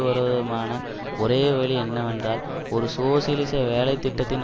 வருவதுமான ஒரே வழி என்னவென்றால் ஒரு சோசியலிச வேலை திட்டத்தின்